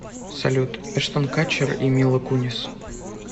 салют эштен катчер и мила кунис